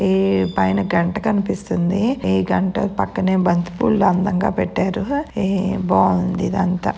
ఈ పైన గంట కనిపిస్తుంది ఈ గంట పక్కనే బంతిపూలు అందంగ పెట్టారు ఈ బావుంది ఇదంతా.